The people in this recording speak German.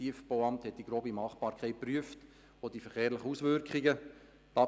Das Tiefbauamt hat die grobe Machbarkeit und die verkehrlichen Auswirkungen geprüft.